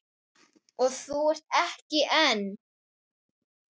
Og þú ert ekki einn.